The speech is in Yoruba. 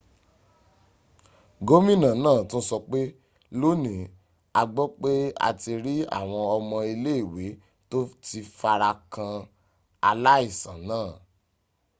gómìnà náà tún sọpé lónìí a gbọ́ pé a ti rí àwọn ọmọ ilé ìwé tó ti farakan aláìsàn náà